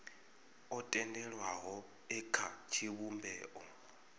o tendelwaho e kha tshivhumbeo